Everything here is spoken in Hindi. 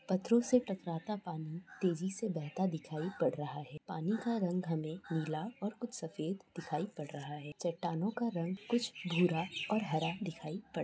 पत्थरो से टकराता पानी तेजी से बहता दिखाई पड़ रहा है पानी का रंग हमे कुछ नीला और कुछ सफेद दिखाई पड़ रहा है चट्टानों का रंग कूछ भूरा और हरा दिखाई पड़--